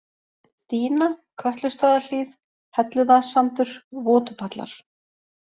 Dýna, Kötlustaðahlíð, Helluvaðssandur, Votupallar